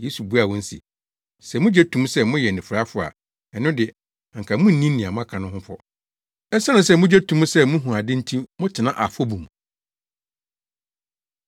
Yesu buaa wɔn se. “Sɛ mugye to mu sɛ moyɛ anifuraefo a, ɛno de anka munnni nea maka no ho fɔ. Esiane sɛ mugye to mu sɛ muhu ade nti motena afɔbu mu.”